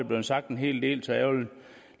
blevet sagt en hel del så jeg vil